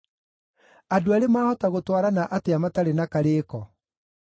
Andũ eerĩ maahota gũtwarana atĩa matarĩ na karĩĩko?